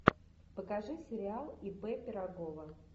покажи сериал ип пирогова